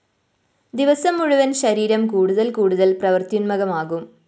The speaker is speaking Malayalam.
ദിവസം മുഴുവന്‍ ശരീരം കൂടുതല്‍ കൂടുതല്‍ പ്രവൃത്യുന്മുഖമാകും